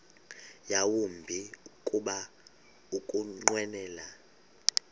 yawumbi kuba ukunqwenela